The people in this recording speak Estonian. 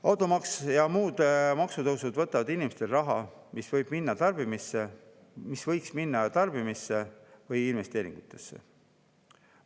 Automaks ja muud maksutõusud võtavad inimestelt raha, mis võiks minna tarbimisse või investeeringutesse.